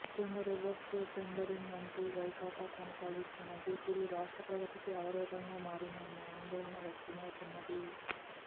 ముఖ్యంగా reverse tendering అంటూ వైకాపా కొనసాగిస్తున్న దూకుడు రాష్ట్ర ప్రగతికి అవరోధంగా మారిందన్న ఆందోళన వ్యక్తమౌతున్నది